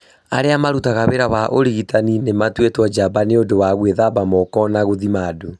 Arĩa marutaga wĩra wa ũrigitani nĩ matuĩtwo njamba nĩ ũndũ wa gwĩthamba moko na gũthima andũ.